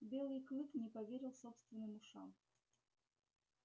белый клык не поверил собственным ушам